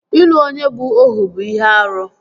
Ịlụ onye bụ Ohu bụ ihe árú